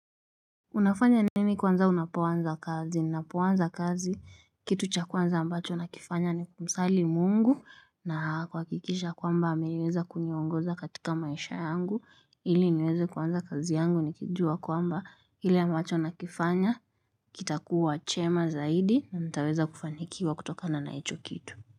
Unafanya nini kwanza unapobaanza kazi? Ninapuanza kazi kitu cha kwanza ambacho nakifanya ni kusali mungu na kwa kuhakikisha kwamba ameweza kuniongoza katika maisha yangu ili niweze kuanza kazi yangu nikijua kwamba ili ambacho nakifanya kitakuwa chema zaidi na nitaweza kufanikiwa kutokana na hicho kitu.